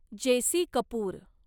JC. Kapoor